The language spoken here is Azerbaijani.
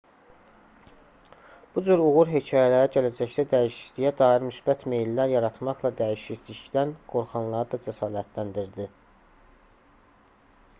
bu cür uğur hekayələri gələcəkdə dəyişikliyə dair müsbət meyllər yaratmaqla dəyişiklikdən qorxanları da cəsarətləndirdi